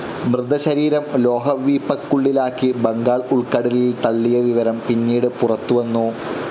മൃതശരീരം ലോഹ വീപ്പക്കുള്ളിലാക്കി ബംഗാൾ ഉൾക്കടലിൽ തള്ളിയ വിവരം പിന്നീട് പുറത്തു വന്നു.